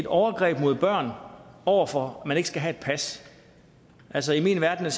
overgreb mod børn over for at man ikke skal have et pas altså i min verden er